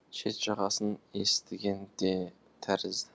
шет жағасын естіген де тәрізді